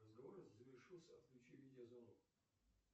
разговор завершился отключи видео звонок